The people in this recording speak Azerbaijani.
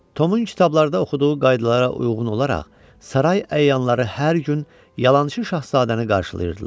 Tomun kitablarda oxuduğu qaydalara uyğun olaraq saray əyanları hər gün yalançı şahzadəni qarşılayırdılar.